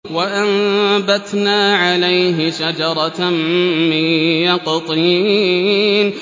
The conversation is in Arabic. وَأَنبَتْنَا عَلَيْهِ شَجَرَةً مِّن يَقْطِينٍ